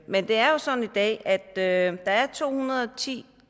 men det er jo sådan i dag at der er tohundrede og titusind